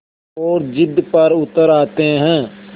और ज़िद पर उतर आते हैं